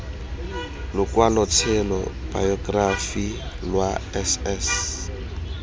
lokwalotshelo bayokerafi lwa s s